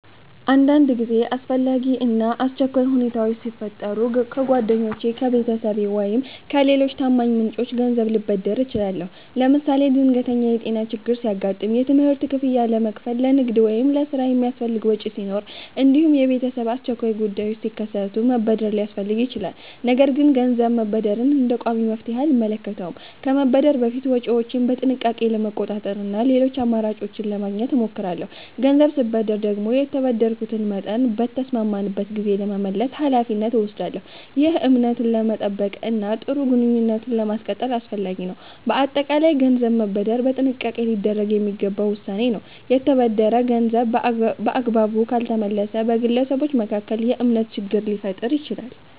አንዳንድ ጊዜ አስፈላጊ እና አስቸኳይ ሁኔታዎች ሲፈጠሩ ከጓደኞቼ፣ ከቤተሰቤ ወይም ከሌሎች ታማኝ ምንጮች ገንዘብ ልበደር እችላለሁ። ለምሳሌ ድንገተኛ የጤና ችግር ሲያጋጥም፣ የትምህርት ክፍያ ለመክፈል፣ ለንግድ ወይም ለሥራ የሚያስፈልግ ወጪ ሲኖር፣ እንዲሁም የቤተሰብ አስቸኳይ ጉዳዮች ሲከሰቱ መበደር ሊያስፈልግ ይችላል። ነገር ግን ገንዘብ መበደርን እንደ ቋሚ መፍትሔ አልመለከተውም። ከመበደር በፊት ወጪዎቼን በጥንቃቄ ለመቆጣጠር እና ሌሎች አማራጮችን ለማግኘት እሞክራለሁ። ገንዘብ ስበደር ደግሞ የተበደርኩትን መጠን በተስማማንበት ጊዜ ለመመለስ ኃላፊነት እወስዳለሁ። ይህ እምነትን ለመጠበቅ እና ጥሩ ግንኙነትን ለማስቀጠል አስፈላጊ ነው። በአጠቃላይ ገንዘብ መበደር በጥንቃቄ ሊደረግ የሚገባ ውሳኔ ነው። የተበደረ ገንዘብ በአግባቡ ካልተመለሰ በግለሰቦች መካከል የእምነት ችግር ሊፈጠር ይችላል።